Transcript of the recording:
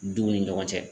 Duw ni ɲɔgɔn cɛ